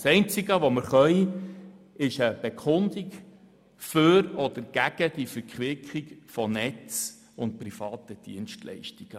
Das Einzige, was wir tun können, ist eine Bekundung für oder gegen die Verquickung der Bereiche Netze und privaten Dienstleistungen.